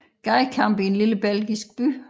Gadekampe i en lille belgisk by